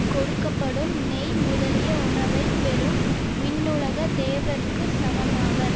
கொடுக்க படும் நெய் முதலிய உணவை பெறும் விண்ணுலகத் தேவர்க்கு சமமாவர்